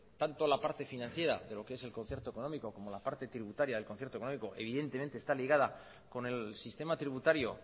tanto la parte financiera de lo que es el concierto económico como la parte tributaria del concierto económico evidentemente está ligada con el sistema tributario